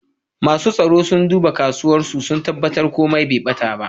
Masu tsaro suna dubba kasuwan, su tabatar komi Bai bata ta.